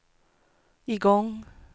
igång